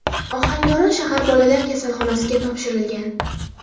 Ohangaron shahar bolalar kasalxonasiga topshirilgan.